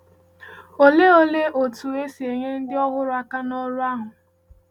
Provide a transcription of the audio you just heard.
Òlee Òlee otú e si enyé ndị ọhụrụ aka n’ọrụ ahụ?